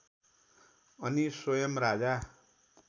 अनि स्वयम् राजा